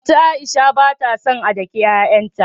Anti Aisha batason a daki y'ay'an ta